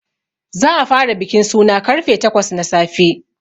Za a fara bikin suna karfe takwas na safe.